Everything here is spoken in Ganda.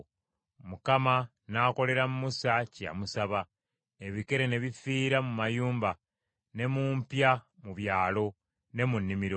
Mukama n’akolera Musa kye yamusaba. Ebikere ne bifiira mu mayumba, ne mu mpya mu byalo, ne mu nnimiro.